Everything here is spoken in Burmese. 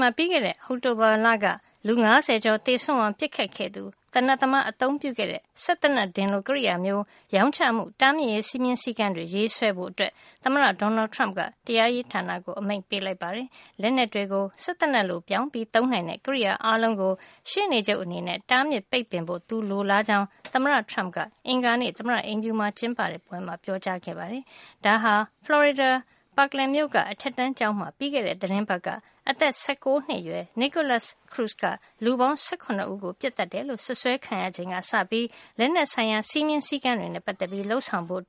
မှာ ပြီးခဲ့တဲ့ အောက်တိုဘာက လူ ၅၀ ကျော်သေဆုံးအောင် ပစ်ခတ်ခဲ့သူသေနတ်သမား အသုံးပြုခဲ့တဲ့ စက်သေနတ်ဒင်လို ကရိယာမျိုး ရောင်းချမှု တားမြစ်ရေး စည်းမျဉ်းစည်းကမ်းတွေ ရေးဆွဲဖို့အတွက် သမ္မတ Donald Trump က တရားရေးဌာနကို အမိန့်ပေးလိုက်ပါတယ်။ လက်နက်တွေကို စက်သေနတ်လို ပြောင်းပြီး သုံးနိုင်တဲ့ ကရိယာအားလုံးကို ရှေ့နေချုပ်အနေနဲ့ တားမြစ်ပိတ်ပင်ဖို့ သူလိုလားကြောင်း သမ္မတ Trump က အင်္ဂါနေ့ သမ္မတအိမ်ဖြူမှာကျင်းပတဲ့ ပွဲမှာ ပြောကြားခဲ့ပါတယ်။ ဒါဟာ ဖလော်ရီဒါ Parkland မြို့က အထက်တန်းကျောင်းမှာ ပြီးခဲ့တဲ့ သီတင်းပတ်က အသက် ၁၉ နှစ်အရွယ် Nikolas Cruz က လူပေါင်း ၁၇ ဦးကို ပစ်သတ်တယ်လို့ စွပ်စွဲခံရချိန်က စပြီး လက်နက်ဆိုင်ရာ စည်းမျဉ်းစည်းကမ်းတွေနဲ့ ပတ်သက်ပြီးလုပ်ဆောင်ဖို့